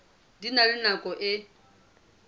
di na le nako e